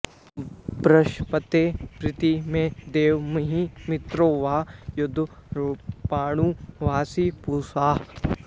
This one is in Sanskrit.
बृहस्पते प्रति मे देवतामिहि मित्रो वा यद्वरुणो वासि पूषा